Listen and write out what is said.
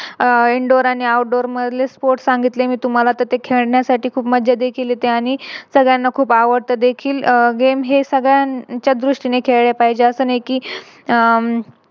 आह Indoor आणि Outdoor sports मधले Sports सांगितले मी तुम्हाला ते खेळण्यासाठी खूप मज्जा देखील येते आणि सगळ्यांना खूप आवडत देखील अह Game हे सगळ्यांच्या दृष्टीने खेळाला पाहिजे असं नाही कि हम्म